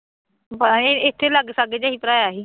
ਬੱਸ ਅਹ ਇੱਥੇ ਲਾਗੇ ਸਾਗੇ ਜਿਹੇ ਭਰਾਇਆ ਸੀ